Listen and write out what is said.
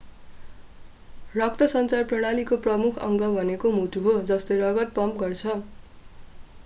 रक्तसञ्चार प्रणालीको प्रमुख अङ्ग भनेको मुटु हो जसले रगत पम्प गर्छ